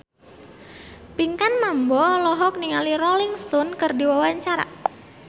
Pinkan Mambo olohok ningali Rolling Stone keur diwawancara